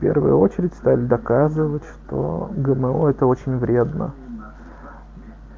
первую очередь стали доказывать что гмо это очень вредно